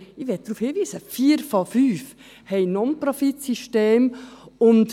Ich möchte darauf hinweisen, dass vier von fünf Non-Profit-Systeme haben.